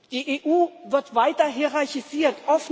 Die EU wird weiter hierarchisiert.